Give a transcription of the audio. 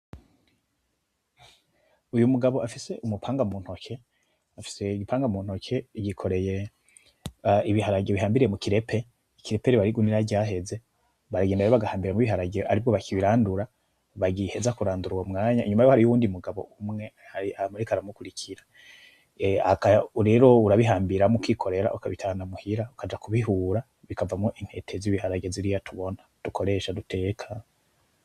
Uyu mugabo afise umupanga muntoke, afise umupanga muntoke yikoreye ibiharage bihambiriye mukirepe. Ikirepere aba arigunira ryaheze baragenda rero bagahambiramwo ibiharage aribwo bakibirandura, bagiheza kurandura uyo mwanya, inyuma yiwe hariho uwundi mugabo umwe ari ahantu ariko aramukurikira, rero urabihambiramwo ukikorera ukabitahana muhira ukaja kubihura bikavamwo intete zibiharage ziriya tubona dukoresha duteka.